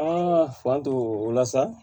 An fa to o la sa